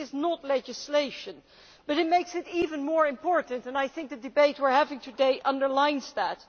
it is not legislation. But it makes it even more important, and I think the debate we are having today underlines that.